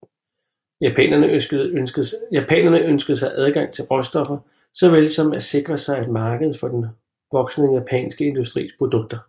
Japanerne ønskede sig adgang til råstoffer såvel som at sikre sig et marked for den voksende japanske industris produkter